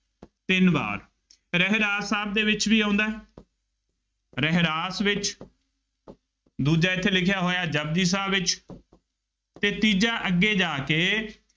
ਤਿੰਨ ਵਾਰ ਰਹਿਰਾਸ ਸਾਹਿਬ ਦੇ ਵਿੱਚ ਵੀ ਆਉਂਦਾ ਹੈ ਰਹਿਰਾਸ ਵਿੱਚ ਦੂਜਾ ਇੱਥੇ ਲਿਖਿਆ ਹੋਇਆ ਜਪੁਜੀ ਸਾਹਿਬ ਵਿੱਚ ਅਤੇ ਤੀਜਾ ਅੱਗੇ ਜਾ ਕੇ